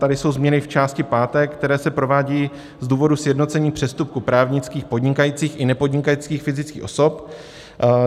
Tady jsou změny v části páté, které se provádějí z důvodu sjednocení přestupků právnických podnikajících i nepodnikajících fyzických osob.